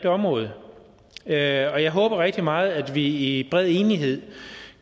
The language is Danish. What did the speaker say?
område og jeg håber rigtig meget at vi i bred enighed